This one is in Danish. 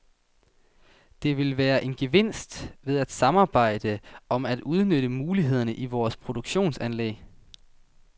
Der vil være en gevinst ved at samarbejde om at udnytte mulighederne i vores produktionsanlæg.